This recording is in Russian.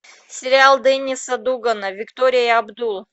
сериал денниса дугана виктория и абдул